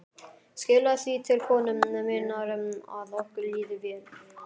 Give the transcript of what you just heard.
Skilaðu því til konu minnar að okkur líði vel.